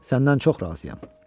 Səndən çox razıyam.